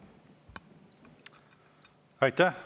Aitäh!